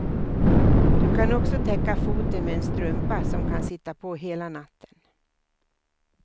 Du kan också täcka foten med en strumpa som kan sitta på hela natten.